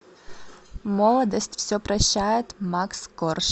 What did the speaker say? молодость все прощает макс корж